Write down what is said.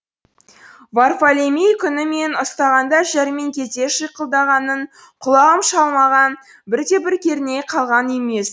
варфолемей күні мені ұстағанда жәрмеңкеде шиқылдағанын құлағым шалмаған бір де бір керней қалған емес